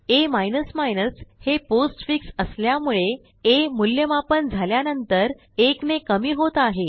आ हे पोस्टफिक्स असल्यामुळे आ मूल्यमापन झाल्यानंतर 1ने कमी होत आहे